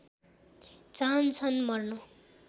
चाहन्छन् मर्न